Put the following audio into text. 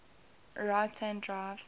right hand drive